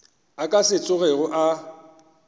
a ka se tsogego a